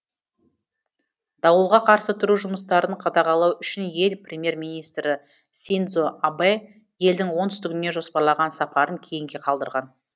дауылға қарсы тұру жұмыстарын қадағалау үшін ел премьер министрі синдзо абэ елдің оңтүстігіне жоспарлаған сапарын кейінге қалдырған